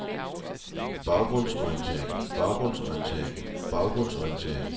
baggrundsorientering baggrundsorientering baggrundsorientering